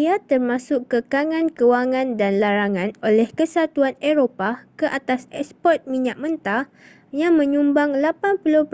ia termasuk kekangan kewangan dan larangan oleh kesatuan eropah ke atas eksport minyak mentah yang menyumbang 80%